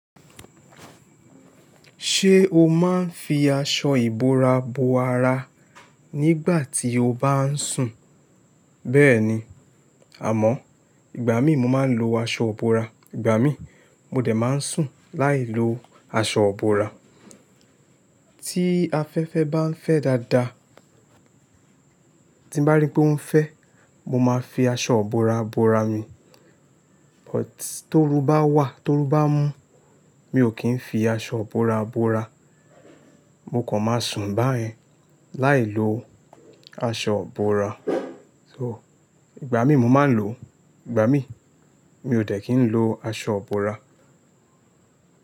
Ṣé o máa ń fi aṣọ ìbora bo ara nígbà tí o bá ń sùn? Bẹ́ẹ̀ni, àmọ́ ìgbà mí mo máa ń lo aṣọ ìbora, ìgbà mí mo dẹ̀ máa ń sùn láì lo aṣọ ìbora. Tí afẹ́fẹ́ bá ń fẹ́ dáadáa, tí bá rí pé ó ń fẹ́, mo máa fi aṣọ ìbora bora mi. But torú bá wà, torú bá mú, mi ò kí ń fi aṣọ ìbora bora, mo kàn máa sùn báyẹn láì lo aṣọ ìbora. So ìgbà mí mo máa ń lo, ìgbà mí mi ò de kí n lo aṣọ ìbora.